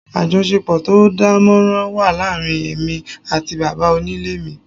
Àjọṣepọ̀ tó dánmọ́nrán wà láàárín èmi àti bàbá onílé mi